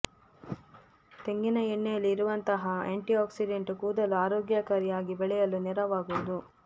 ತೆಂಗಿನ ಎಣ್ಣೆಯಲ್ಲಿ ಇರುವಂತಹ ಆಂಟಿಆಕ್ಸಿಡೆಂಟ್ ಕೂದಲು ಆರೋಗ್ಯಕಾರಿ ಆಗಿ ಬೆಳೆಯಲು ನೆರವಾಗುವುದು